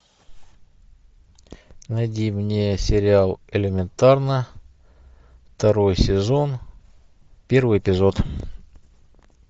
найди мне сериал элементарно второй сезон первый эпизод